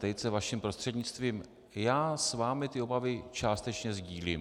Tejce vaším prostřednictvím - já s vámi ty obavy částečně sdílím.